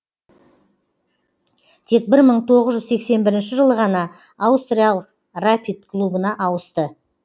тек бір мың тоғыз жүз сексен бірінші жылы ғана аустриялық рапид клубына ауысты